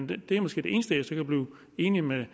det er måske det eneste jeg så kan blive enig med